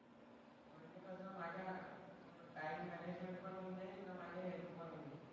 म्हणजे कसं माझा टाइम मॅनेजमेंट पण होऊन जाईल अन माझा हेल्थ पण होऊन जाईल.